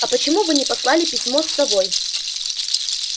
а почему вы не послали письмо с совой